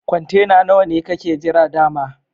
Kwantena nawa ne kakke jira da'ma?